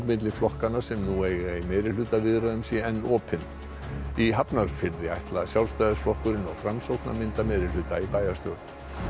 milli flokkanna sem nú eiga í meirihlutaviðræðum sé enn opin í Hafnarfirði ætla Sjálfstæðisflokkurinn og Framsókn að mynda meirihluta í bæjarstjórn